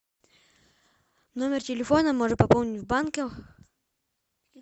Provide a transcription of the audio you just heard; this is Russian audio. номер телефона можно пополнить в банке